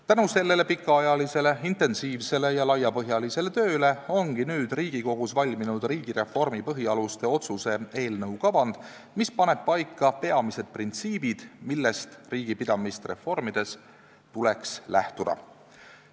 Tänu sellele pikaajalisele intensiivsele ja laiapõhjalisele tööle ongi nüüd Riigikogus valminud riigireformi põhialuste otsuse eelnõu kavand, mis paneb paika peamised printsiibid, millest riigipidamist reformides tuleks lähtuda.